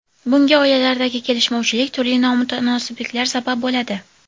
Bunga oilalardagi kelishmovchilik, turli nomutanosibliklar sabab bo‘ladi.